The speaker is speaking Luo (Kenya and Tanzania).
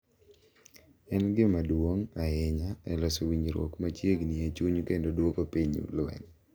En gima duong’ ahinya e loso winjruok machiegni e chuny kendo duoko piny lweny.